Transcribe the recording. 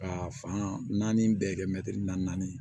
Ka fan naani bɛɛ kɛ mɛtiri naani ye